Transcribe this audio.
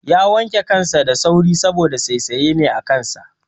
Ya wanke kansa da sauri saboda saisaye ne a kansa